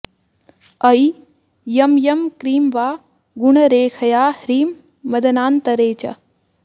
I यं यं क्रीं वा गुणरेखया ह्रीं मदनान्तरे च